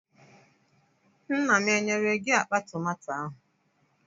Nna m enyere gị akpa tomato ahụ?